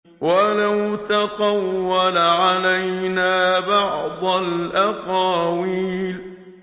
وَلَوْ تَقَوَّلَ عَلَيْنَا بَعْضَ الْأَقَاوِيلِ